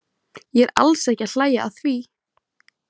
Ég er alls ekki að hlæja að því.